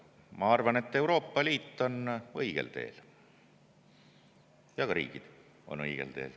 Ma arvan, et Euroopa Liit on õigel teel ja ka riigid on õigel teel.